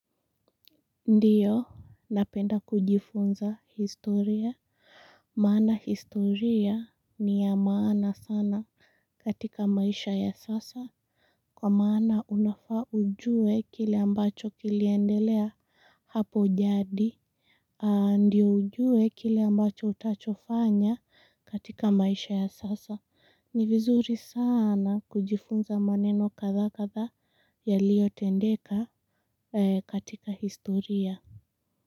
Ndiyo napenda kujifunza historia maana historia ni ya maana sana katika maisha ya sasa kwa maana unafaa ujue kile ambacho kiliendelea hapo jadi ndiyo ujue kile ambacho utachofanya katika maisha ya sasa ni vizuri sana kujifunza maneno kadhaa kadhaa yaliotendeka katika historia.